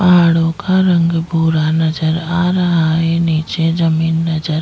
पहाडों का रंग भूरा नजर आ रहा है निचे जमीन नज़र --